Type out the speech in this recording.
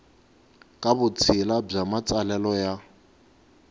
ka vutshila bya matsalelo ya